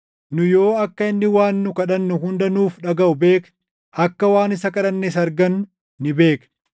Nu yoo akka inni waan nu kadhannu hunda nuuf dhagaʼu beekne, akka waan isa kadhannes argannu ni beekna.